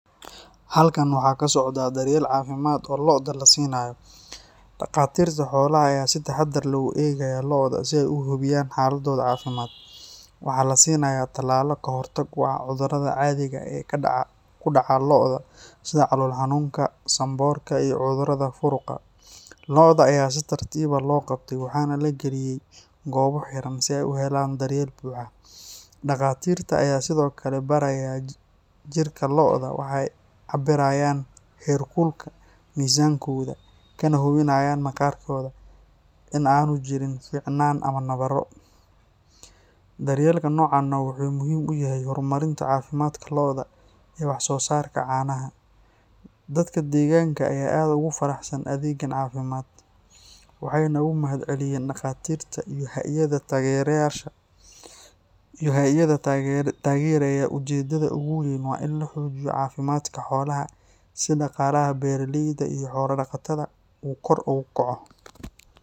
Halkan waxaa ka socdaah daryeel caafimaad oo lo’da la siinayo. Dhaqaatiirta xoolaha ayaa si taxadar leh u eegaya lo’da si ay u hubiyaan xaaladooda caafimaad. Waxaa la siinayaa talaalo ka hortag u ah cudurrada caadiga ah ee ku dhaca lo’da sida calool-xanuunka, sanboorka, iyo cudurrada furuqa. Lo’da ayaa si tartiib ah loo qabtay waxaana la galiyay goobo xiran si ay u helaan daryeel buuxa. Dhaqaatiirta ayaa sidoo kale baaraya jirka lo’da, waxay cabirayaan heerkulka, miisaankooda, kana hubinayaan maqaarkooda in aanu jirin finan ama nabarro. Daryeelka noocan ah wuxuu muhiim u yahay horumarinta caafimaadka lo’da iyo waxsoosaarka caanaha. Dadka deegaanka ayaa aad ugu faraxsan adeeggan caafimaad, waxayna uga mahadceliyeen dhaqaatiirta iyo hay’adaha taageeraya. Ujeedada ugu weyn waa in la xoojiyo caafimaadka xoolaha si dhaqaalaha beeraleyda iyo xoolo-dhaqatada uu kor ugu kaco.